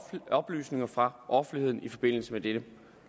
oplysninger fra offentligheden i forbindelse med dette